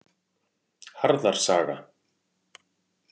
Harðar saga.